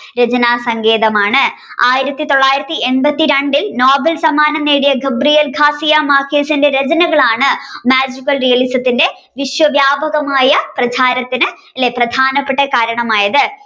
രചനാസങ്കേതമാണ് ആയിരത്തിത്തൊള്ളായിരത്തി എണ്പത്തിരണ്ടിൽ നോവൽ സമ്മാനം നേടിയ Gabriel Garcia Marcquez ന്റെ രചനകളാണ് Magical realism ന്റെ വിശ്വവ്യാപകമായ പ്രധാനപ്പെട്ടകാരണമായത്.